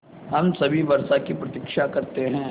हम सभी वर्षा की प्रतीक्षा करते हैं